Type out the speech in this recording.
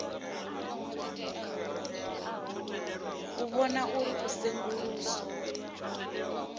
u vhona uri u senguluswa